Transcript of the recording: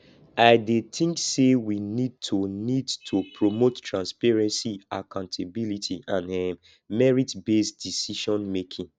i dey think say we need to need to promote transparency accountability and um meritbased decisionmaking